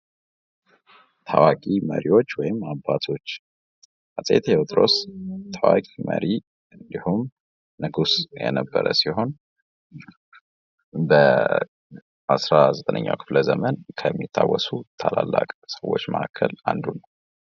ቀነኒሳ በፈጣን ፍጥነቱና በፅናት ችሎታው ተወዳዳሪ አልነበረውም። አሁንም በውድድሮች ላይ ንቁ ተሳትፎ እያደረገ ይገኛል።